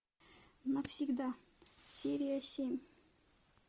навсегда серия семь